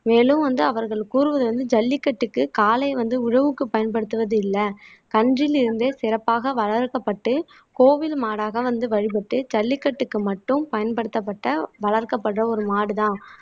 மேலும் வந்து அவர்கள் கூறுவது வந்து ஜல்லிக்கட்டுக்கு காளை வந்து உழவுக்கு பயன்படுத்துவது இல்லை கன்றிலிருந்தே சிறப்பாக வளர்க்கப்பட்டு கோவில் மாடாக வந்து வழிபட்டு ஜல்லிக்கட்டுக்கு மட்டும் பயன்படுத்தப்பட்ட வளர்க்கப்படுற ஒரு மாடுதான்